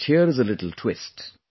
But here is a little twist